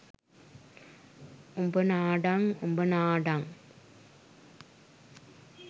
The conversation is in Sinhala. උඹ නාඩන් උඹ නාඩන්